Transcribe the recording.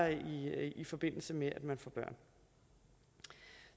i forbindelse med at man får børn